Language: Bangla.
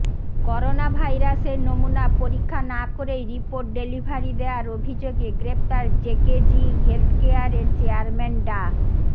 করোনাভাইরাসের নমুনা পরীক্ষা না করেই রিপোর্ট ডেলিভারি দেয়ার অভিযোগে গ্রেপ্তার জেকেজি হেলথকেয়ারের চেয়ারম্যান ডা